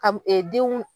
Ka denw